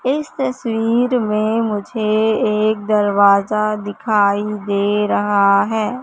इस तस्वीर में मुझे एक दरवाजा दिखाई दे रहा है।